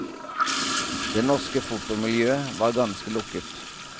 Det norske fotomiljøet var ganske lukket.